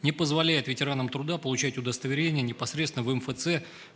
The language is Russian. не позволяет ветеранам труда получать удостоверение непосредственно в мфц